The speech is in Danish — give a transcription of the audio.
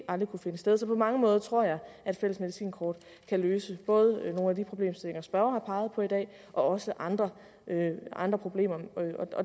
aldrig kunne finde sted så på mange måder tror jeg at fælles medicinkort kan løse både nogle af de problemstillinger spørgeren har peget på i dag og andre andre problemer